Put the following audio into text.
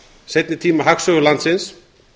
seinni tíma hagsögu landsins